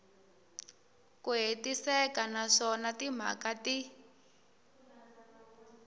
ku hetiseka naswona timhaka ti